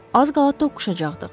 Az qala toqquşacaqdıq.